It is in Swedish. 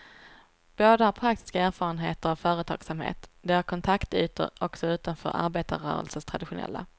Båda har praktiska erfarenheter av företagsamhet, de har kontaktytor också utanför arbetarrörelsens traditionella.